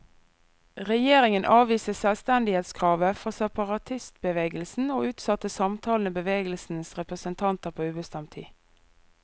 Regjeringen avviste selvstendighetskravet fra separatistbevegelsen, og utsatte samtalene med bevegelsens representanter på ubestemt tid.